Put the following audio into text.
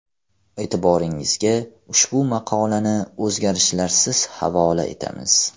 E’tiboringizga ushbu maqolani o‘zgarishlarsiz havola etamiz.